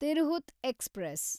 Tirhut express